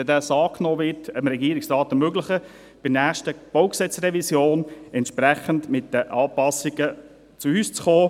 Wenn das angenommen wird, wird dem Regierungsrat ermöglicht, in der nächsten BauG-Revision entsprechend mit den Anpassungen zu uns zu kommen.